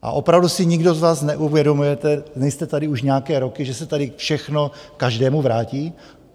A opravdu si nikdo z vás neuvědomujete, nejste tady už nějaké roky, že se tady všechno každému vrátí?